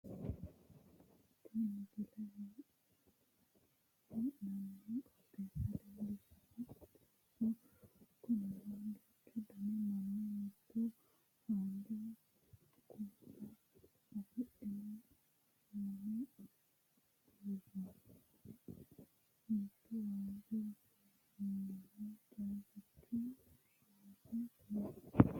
Tini misile. hee'naanni qooxeessa leellishanno Qooxeessu kunino duuchu dani mini mitu haanja kuula afidhino qalame buurroonniho mitu waajjo buurroonniho caabichu shiwono no